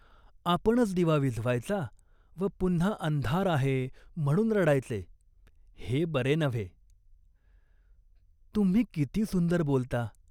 आपणच दिवा विझवायचा व पुन्हा अंधार आहे म्हणून रडायचे, हे बरे नव्हे." "तुम्ही किती सुंदर बोलता ?